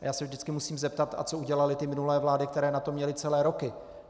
A já se vždycky musím zeptat: a co udělaly ty minulé vlády, které na to měly celé roky?